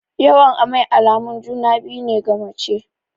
Yawan amai alamun juna-biyu ne ga mace.